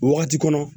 Wagati kɔnɔ